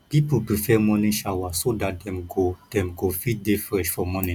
pipo prefer morning shower so dat dem go dem go fit dey fresh for morning